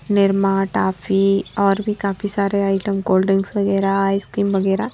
Nirma toffee और भी काफी सारे आइटम कोल्ड ड्रिंक्स आइसक्रीम वगैरह--